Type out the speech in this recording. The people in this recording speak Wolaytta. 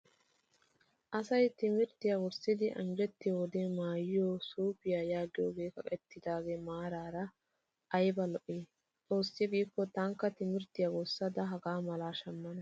Asayi timirttiyaa wurssidi anjjettiyoo wode maayyiyoo suupiyaa yaagiyoogee kaqettidaage maraara ayiba lo''ii. Xoossi giikko tankka timirttiyaa wurssada hagaa mala shammana.